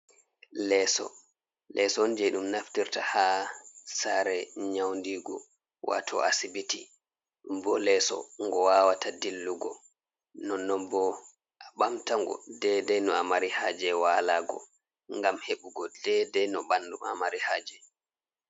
Leso, leso on je ɗum naftirta ha sare nyaundigu wato asibiti. Ɗum bo leso ngo wawata dillugo, nonnon bo a ɓamtango dedei no a mari haje walago ngam heɓugo dedei no ɓandu ma mari haje.